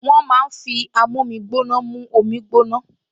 Wọ́n máa ń fi amómígbóná mú omi gbóná